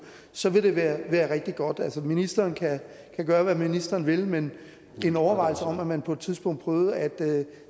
så vil det være rigtig godt ministeren kan gøre hvad ministeren vil men en overvejelse om at man på et tidspunkt prøvede at